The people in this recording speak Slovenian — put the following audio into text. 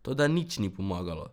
Toda nič ni pomagalo.